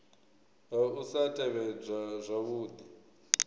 ha u sa tevhedzwa zwavhudi